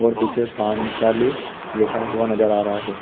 और पीछे पांचाली लिखा हुआ नज़र आ रहा है।